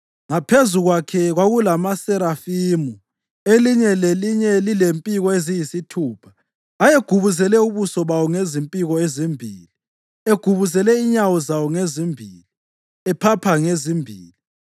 Ngaphezu kwakhe kwakulamaserafimu, elinye lelinye lilempiko eziyisithupha. Ayegubuzele ubuso bawo ngezimpiko ezimbili, egubuzele inyawo zawo ngezimbili, ephapha ngezimbili.